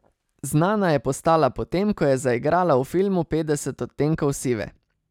Znana je postala po tem, ko je zaigrala v filmu Petdeset odtenkov sive.